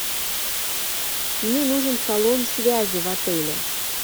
мне нужен салон связи в отеле